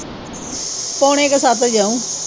ਪੋਣੇ ਕਾ ਸੱਤ ਜਾਊ।